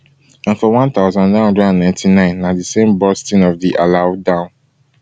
and for one thousand, nine hundred and ninety-nine na di same bursting of di alau dam